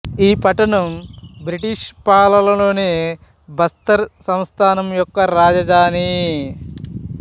ఈ పట్టణం బ్రిటిష్ పాలనలోని బస్తర్ సంస్థానం యొక్క రాజధాని